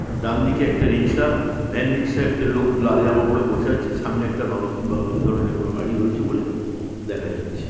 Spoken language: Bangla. ডানদিকে একটা রিক্সা ভ্যান রিক্সায় একটি লোক লাল জামা পরে বসে আছে। সামনে একটা মারুতি বা এই ধরণের কোনো গাড়ি রয়েছে বলে দেখা যাচ্ছে ।